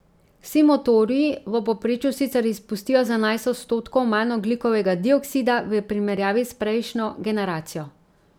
Vsi motorji v povprečju sicer izpustijo za enajst odstotkov manj ogljikovega dioksida v primerjavi s prejšnjo generacijo.